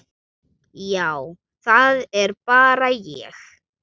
Já, það er bara ég.